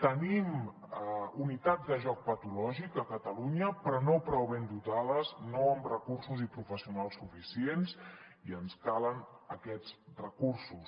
tenim unitats de joc patològic a catalunya però no prou ben dotades no amb recursos i professionals suficients i ens calen aquests recursos